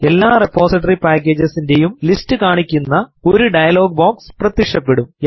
എല്ലാ repository packages ഇന്റെയും list കാണിക്കുന്ന ഒരു ഡെയിലോഗ് ബോക്സ് പ്രത്യക്ഷപ്പെടും